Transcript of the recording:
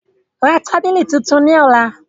Ra tábìlì tuntun ní ọ̀la